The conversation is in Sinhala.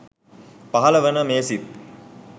පහළ වන මේ සිත්